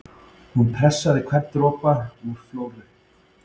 Hún pressaði hvern dropa úr Flóru